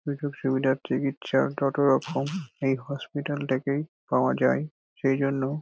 যতরকম এই হসপিটাল -টাকেই পাওয়া যায়। সেই জন্য--